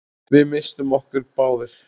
Við misstum okkur báðir.